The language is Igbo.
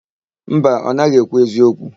Mba, ọ naghị ekwu eziokwu.